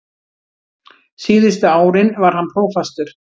Síðustu árin var hann prófastur.